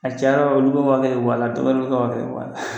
A cayara olu bɛ u ka waa kelen bɔ a la, ka ka waa kelen bɔ a la.